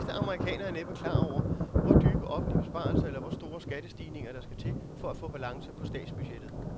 De fleste amerikanere er næppe klar over, hvor dybe offentlige besparelser eller hvor store skattestigninger, der skal til for at få balance på statsbudgettet.